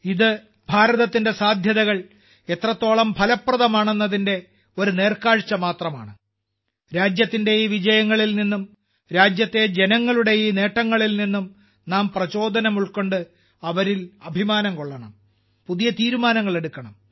ഇത് ഭാരതത്തിന്റെ സാധ്യതകൾ എത്രത്തോളം ഫലപ്രദമാണെന്നതിന്റെ ഒരു നേർക്കാഴ്ച്ച മാത്രമാണ് രാജ്യത്തിന്റെ ഈ വിജയങ്ങളിൽ നിന്നും രാജ്യത്തെ ജനങ്ങളുടെ ഈ നേട്ടങ്ങളിൽ നിന്നും നാം പ്രചോദനം ഉൾക്കൊണ്ട് അവരിൽ അഭിമാനം കൊള്ളണം പുതിയ തീരുമാനങ്ങൾ എടുക്കണം